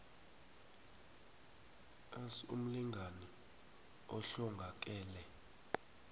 s umlingani ohlongakele